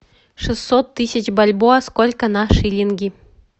шестьсот тысяч бальбоа сколько на шиллинги